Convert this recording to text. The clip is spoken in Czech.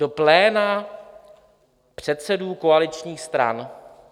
Do pléna předsedů koaličních stran?